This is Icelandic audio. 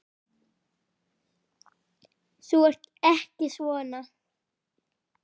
Þú ert ekki svona.